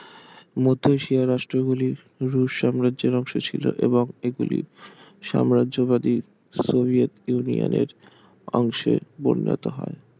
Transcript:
মধ্য এশিয়ার রাষ্ট্র গুলি রুশ সাম্রাজ্যের অংশ ছিল এবং এগুলি সাম্রাজ্যবাদী সোভিয়েত ইউনিয়নের অংশে পরিণত হয়